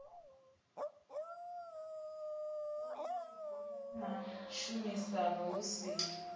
fhulufhedzea na tshumisano hu si